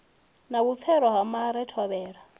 na vhupfelo ha mare thovhela